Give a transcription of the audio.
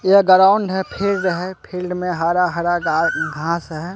ये गराउंड है फील्ड है फील्ड में हरा हरा घा घास है।